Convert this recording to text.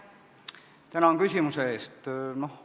Tänan küsimuse eest!